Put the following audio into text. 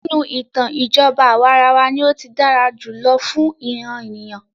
Nínú ìtàn, ìjọba àwàrawa ní o tí dára jùlọ fún ìràn ènìyàn.